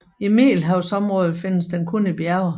I Middelhavsområdet findes den kun i bjerge